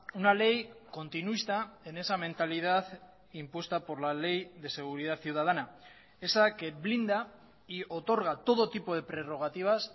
una ley continuista en esa mentalidad impuesta por la ley de seguridad ciudadana esa que blinda y otorga todo tipo de prerrogativas